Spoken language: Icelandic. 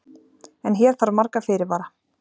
en hér þarf marga fyrirvara